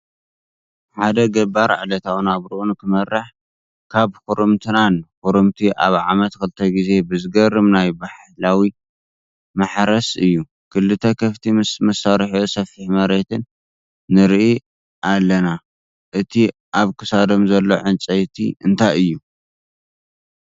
ሓድ ገባር ዕለታዊ ናብርኡ ንክመርሕ ካብ ኽርምቲ ናን ኽርምቲ ኣብ ዓምት ኽልተ ግዜ ብዝገርም ናይ ባሕላዊ ማሕረስ እዩ። ክልተ ክፍቲ ምስ መሳርሒኡ ስፊሕ ምርየትን ንርኢ ኣለንቅ እቲ ኣብ ክሳዶም ዘሎ ዕንፀይቲ እንታይ እዩ?